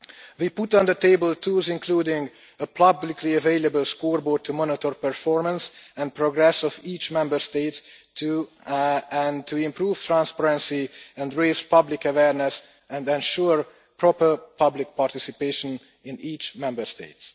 We put on the table tools, including a publicly available scoreboard to monitor the performance and progress of each Member State and to improve transparency and raise public awareness and ensure proper public participation in each Member State.